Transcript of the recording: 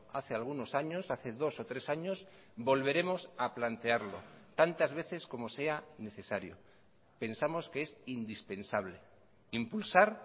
hace algunos años hace dos o tres años volveremos a plantearlo tantas veces como sea necesario pensamos que es indispensable impulsar